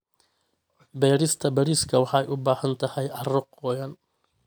Beerista bariiska waxay u baahan tahay carro qoyan.